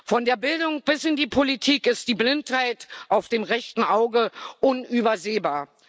Von der Bildung bis in die Politik ist die Blindheit auf dem rechten Auge unübersehbar.